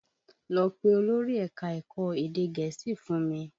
Lọ pé olórí ẹ̀ka ẹ̀kọ́ èdè Gẹ̀ẹ́sì fún mi!